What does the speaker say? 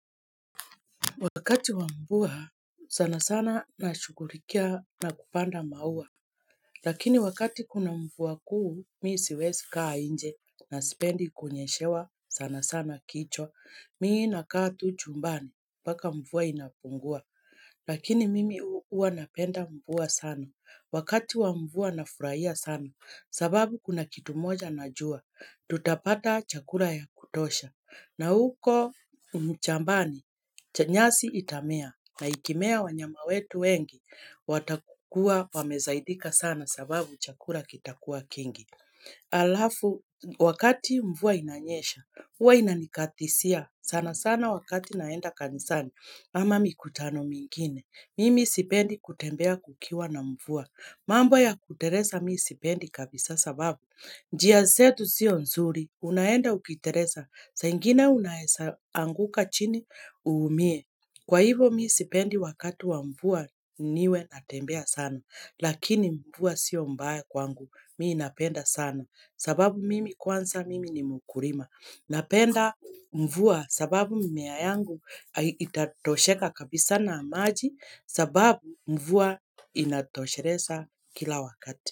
Wakati wamvua sana sana na shugulikia na kupanda maua. Lakini wakati kuna mvua kuu mimi siwezi kaa nje na sipendi kunyeshewa sana sana kichwa. Mimi na kaa tu chumbani mpaka mvua inapungua. Lakini mimi huwa napenda mvua sana. Wakati wa mvua nafurahia sana sababu kuna kitu moja najua. Tutapata chakula ya kutosha. Na huko mchambani, chanyasi itamea na ikimea wanyama wetu wengi, watakua wamesaidika sana sababu chakula kitakua kingi. Alafu, wakati mvua inanyesha, huwa inanikatizia sana sana wakati naenda kanisani ama mikutano mingine. Mimi sipendi kutembea kukiwa na mvua, mambo ya kuteleza mimi sipendi kabisa sababu. Njia zetu sio nzuri, unaenda ukitereza, saa ingine unaeza anguka chini uumie, kwa hivo mi sipendi wakati wa mvua niwe natembea sana, lakini mvua sio mbaya kwangu, mimi napenda sana, sababu mimi kwanza mimi ni mkurima, napenda mvua sababu mimea yangu itatosheka kabisa na maji, sababu mvua inatosheleza kila wakati.